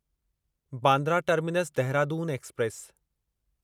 Bandra terminus Dehradun express